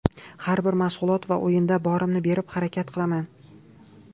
Har bir mashg‘ulot va o‘yinda borimni berib harakat qilaman.